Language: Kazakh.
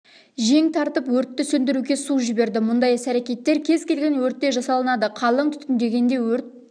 жең тартып өртті сөндіруге су жіберді мұндай іс-әрекеттер кез келген өртте жасалынады қалың түтінденгенде өрт